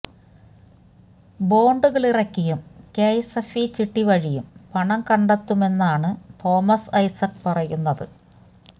ബോണ്ടുകളിറക്കിയും K S F E ചിട്ടി വഴിയും പണം കണ്ടെത്തുമെന്നാണ് തോമസ് ഐസക്ക് പറയുന്നത്